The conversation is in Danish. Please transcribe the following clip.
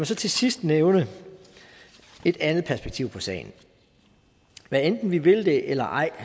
så til sidst nævne et andet perspektiv på sagen hvad enten vi vil det eller ej